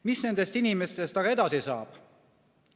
Mis nendest inimestest edasi saab?